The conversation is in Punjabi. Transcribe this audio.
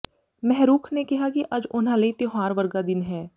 ਮਹਿਰੁਖ ਨੇ ਕਿਹਾ ਕਿ ਅੱਜ ਉਨ੍ਹਾਂ ਲਈ ਤਿਉਹਾਰ ਵਰਗਾ ਦਿਨ ਹੈ